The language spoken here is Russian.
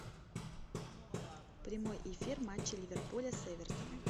прямой эфир матча ливерпуля с эвертоном